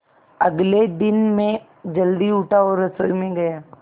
अगले दिन मैं जल्दी उठा और रसोई में गया